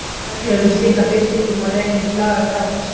Reglur um slíka birtingu má rekja til laga Grágásar.